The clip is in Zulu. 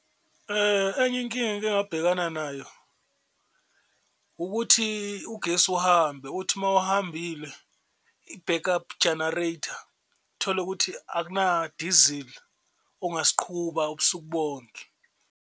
Enye inkinga engike ngabhekana nayo ukuthi ugesi uhambe, uthi uma uhambile i-back up generator uthole ukuthi akunadizili ongasiqhuba ubusuku bonke.